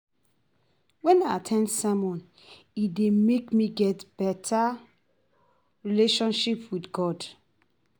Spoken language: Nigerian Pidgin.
When I at ten d sermon, e dey make me get better relationship with God.